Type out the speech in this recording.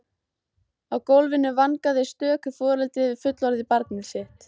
Á gólfinu vangaði stöku foreldri við fullorðið barn sitt.